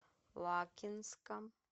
лакинска